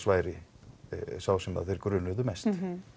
væri sá sem þeir grunuðu mest